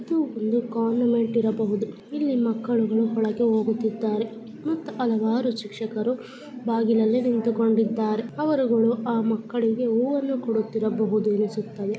ಇದು ಒಂದು ಕಾನ್ವೆಂಟ್ ಇರಬಹುದು ಇಲ್ಲಿ ಮಕ್ಕಳಗಳು ಒಳಗೆ ಹೋಗುತ್ತಾರೆ ಮತ್ತು ಹಲವಾರು ಶಿಕ್ಷಕಗಳು ಬಾಗಿಲಲೆ ನಿಂತುಕೊಂಡಿದ್ದಾರೆ ಅವರುಗಳು ಆ ಮಕ್ಕಳಿಗೆ ಹೂವನ್ನು ಕೊಡಿತ್ತಿರಬಹುದು ಅನಿಸುತ್ತದೆ .